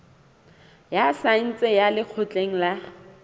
ya saense ya lekgotleng la